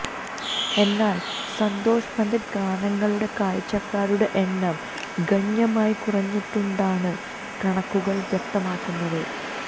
എന്നാൽ സന്തോഷ് പണ്ഡിറ്റ് ഗാനങ്ങളുടെ കാഴ്ചക്കാരുടെ എണ്ണം ഗണ്യമായി കുറഞ്ഞിട്ടുണ്ടെന്നാണ് കണക്കുകൾ വ്യക്തമാക്കുന്നത്